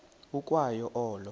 ukwa yo olo